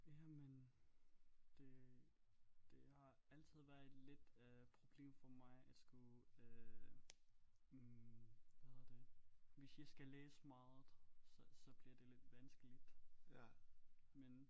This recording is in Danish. Jamen det det har altid været et lidt øh problem for mig at skrive øh hvad hedder det hvis jeg skal læse meget så så bliver det lidt vanskeligt men